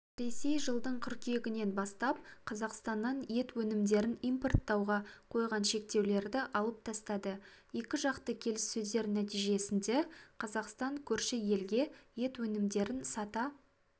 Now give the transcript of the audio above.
ресей жылдың қыркүйегінен бастап қазақстаннан ет өнімдерін импорттауға қойған шектеулерді алып тастады екіжақты келіссөздер нәтижесінде қазақстан көрші елге ет өнімдерін сата